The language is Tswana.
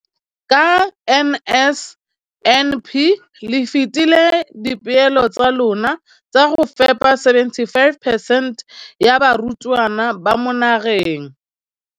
Ka NSNP le fetile dipeelo tsa lona tsa go fepa masome a supa le botlhano a diperesente ya barutwana ba mo nageng.